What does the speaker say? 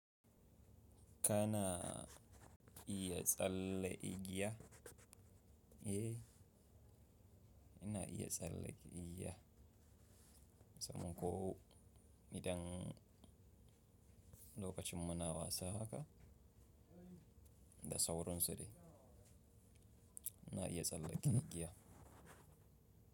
Kana iya tsalle igiya, eh, ina iya tsalle igiya saboda ko idan lokacin muna wasa haka, da sauran sudai ina iya tsalle igiya.